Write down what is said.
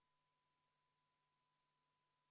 Kohalolijaks registreerus 59 Riigikogu liiget, puudub 42.